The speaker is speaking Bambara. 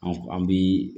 An bi